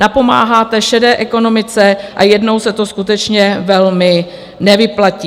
Napomáháte šedé ekonomice a jednou se to skutečně velmi nevyplatí.